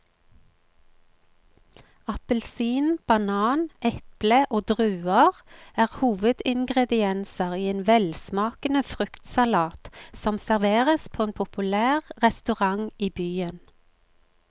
Appelsin, banan, eple og druer er hovedingredienser i en velsmakende fruktsalat som serveres på en populær restaurant i byen.